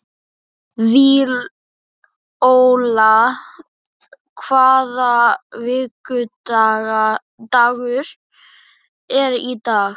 Víóla, hvaða vikudagur er í dag?